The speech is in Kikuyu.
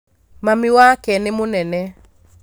Mami wake nĩ mũnene